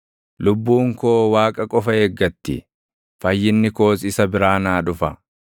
Lubbuun koo Waaqa qofa eeggatti; fayyinni koos isa biraa naa dhufa.